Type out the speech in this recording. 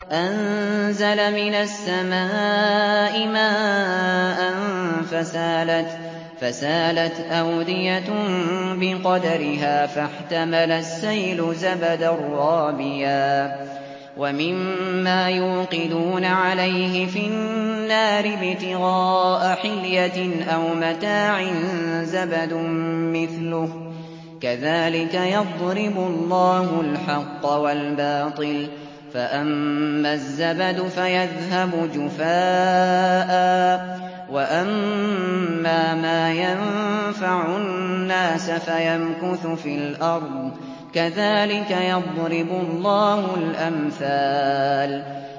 أَنزَلَ مِنَ السَّمَاءِ مَاءً فَسَالَتْ أَوْدِيَةٌ بِقَدَرِهَا فَاحْتَمَلَ السَّيْلُ زَبَدًا رَّابِيًا ۚ وَمِمَّا يُوقِدُونَ عَلَيْهِ فِي النَّارِ ابْتِغَاءَ حِلْيَةٍ أَوْ مَتَاعٍ زَبَدٌ مِّثْلُهُ ۚ كَذَٰلِكَ يَضْرِبُ اللَّهُ الْحَقَّ وَالْبَاطِلَ ۚ فَأَمَّا الزَّبَدُ فَيَذْهَبُ جُفَاءً ۖ وَأَمَّا مَا يَنفَعُ النَّاسَ فَيَمْكُثُ فِي الْأَرْضِ ۚ كَذَٰلِكَ يَضْرِبُ اللَّهُ الْأَمْثَالَ